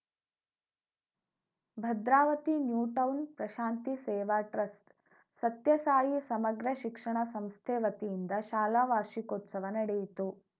Bhadravati new town Prashanti Seva trust Sathya Sai ಸಮಗ್ರ ಶಿಕ್ಷಣ ಸಂಸ್ಥೆ ವತಿಯಿಂದ ಶಾಲಾ ವಾರ್ಷಿಕೋತ್ಸವ ನಡೆಯಿತು